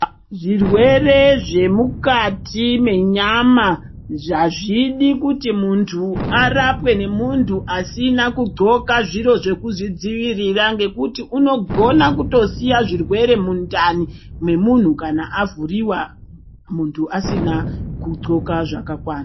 Zvirwere zvemukati mwenyama hazvidi kuti muntu arapwe ngemuntu asina kundxoka zviro zvekuzvidzivirira ngekuti unogona kutosiya zvirwere mundani memunhu kana avhuriwa muntu asina kundxoka zvakakwana.